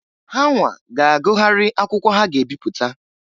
Hanwa ga agụgharị akwụkwọ ha ga'ebipụta.